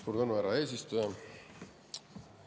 Suur tänu, härra eesistuja!